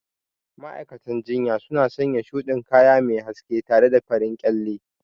Ma'aikatan jinya suna sanya shuɗin kaya mai haske tare da farar kyalle.